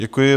Děkuji.